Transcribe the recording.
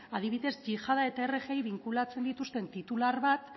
adibidez yihada eta rgia binkulatzen dituzten titular bat